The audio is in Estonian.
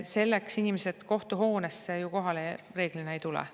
Selleks inimesed kohtuhoonesse kohale ju reeglina ei tule.